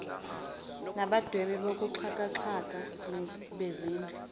nabadwebi bokuxhakaxhaka bezindlu